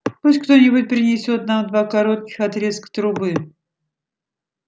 пусть кто-нибудь принесёт нам два коротких отрезка трубы